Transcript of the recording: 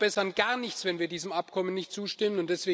Wir verbessern gar nichts, wenn wir diesem Abkommen nicht zustimmen.